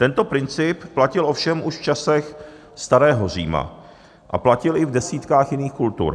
Tento princip platil ovšem už v časech starého Říma a platil i v desítkách jiných kultur.